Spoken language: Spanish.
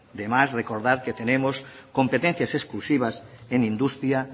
de más recordar que tenemos competencias exclusivas en industria